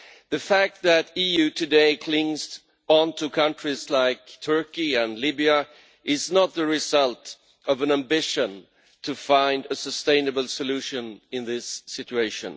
The fact that the EU today clings on to countries like Turkey and Libya is not the result of an ambition to find a sustainable solution in this situation.